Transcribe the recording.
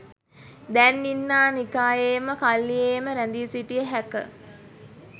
දැන් ඉන්නා නිකායේම කල්ලියේම රැඳී සිටිය හැක.